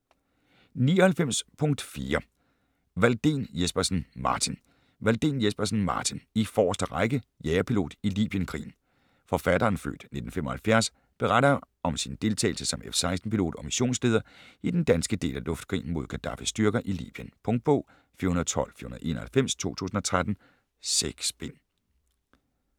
99.4 Walldén Jespersen, Martin Walldén Jespersen, Martin: I forreste række: jagerpilot i libyenkrigen Forfatteren (f. 1975) beretter om sin deltagelse som F-16 pilot og missionsleder i den danske del af luftkrigen mod Gadaffis styrker i Libyen. Punktbog 412491 2013. 6 bind.